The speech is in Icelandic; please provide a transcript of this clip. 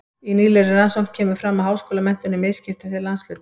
Í nýlegri rannsókn kemur fram að háskólamenntun er misskipt eftir landshlutum.